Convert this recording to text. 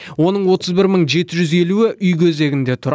оның отыз бір мың жеті жүз елуі үй кезегінде тұр